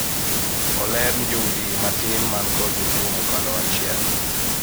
joudi matin manigi jotuwo mokalo achiel oler